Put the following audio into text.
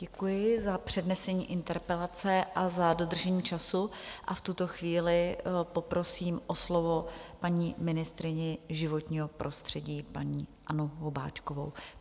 Děkuji za přednesení interpelace a za dodržení času a v tuto chvíli poprosím o slovo paní ministryni životního prostředí, paní Annu Hubáčkovou.